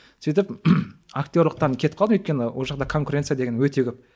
сөйтіп актерліктен кетіп қалдым өйткені ол жақта конкуренция деген өте көп